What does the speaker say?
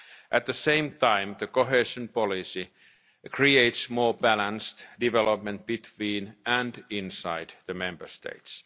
industry. At the same time, cohesion policy creates more balanced development between and inside the Member